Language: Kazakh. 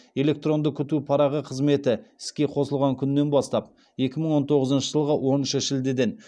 электронды күту парағы қызметі іске қосылған күннен бастап